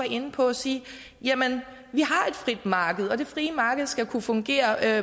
inde på sige jamen vi har et frit marked og det frie marked skal kunne fungere